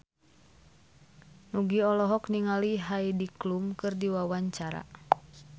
Nugie olohok ningali Heidi Klum keur diwawancara